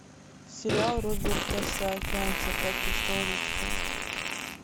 сериал роберта саакянса как я стал русским